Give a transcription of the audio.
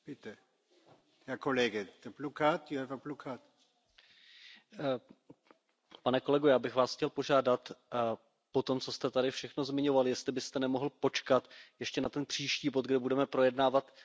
Pane kolego, já bych Vás chtěl požádat po tom, co jste tady všechno zmiňoval, jestli byste nemohl počkat ještě na ten příští bod, kde budeme projednávat trestně stíhaného českého premiéra Andreje Babiše, který, dle výroku slovenského soudu,